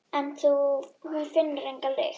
En hún finnur enga lykt.